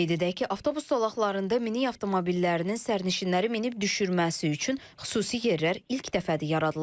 Qeyd edək ki, avtobus zolaqlarında minik avtomobillərinin sərnişinləri minib-düşürməsi üçün xüsusi yerlər ilk dəfədir yaradılır.